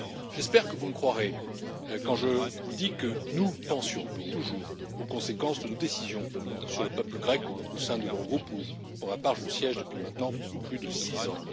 J'espère que vous me croirez quand je vous dis que nous pensions toujours aux conséquences de nos décisions pour le peuple grec au sein de l'Eurogroupe où, pour ma part, je siège depuis maintenant plus de six ans.